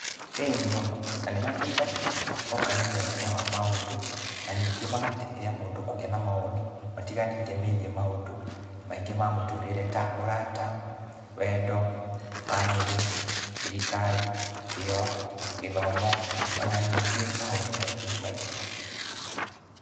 Ĩni mũno, na nĩmateithagia, hoka nĩ muonere wa maũndũ, na ningĩ magateithia mũndũ kũgĩa na mawoni matiganĩte megie maũndũ maingĩ ma mũtũrĩre ta ũrata, wendo, bamĩrĩ, thirikari, kĩyo, gĩthomo, ona ningĩ maũndũ maingĩ maingĩ.